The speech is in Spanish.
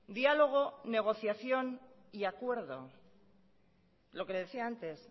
diálogo negociación y acuerdo lo que le decía antes